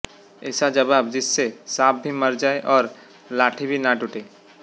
ऐसा जबाव जिस से सांप भी मर जाये और लाठी भी न टूटे